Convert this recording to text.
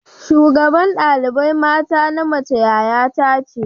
shugaban dalibai mata na mace yaya ta ce.